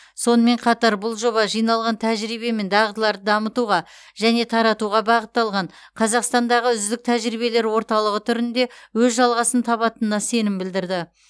сонымен қатар бұл жоба жиналған тәжірибе мен дағдыларды дамытуға және таратуға бағытталған қазақстандағы үздік тәжірибелер орталығы түрінде өз жалғасын табатынына сенім білдірді